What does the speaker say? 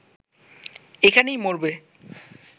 এখানেই মরবে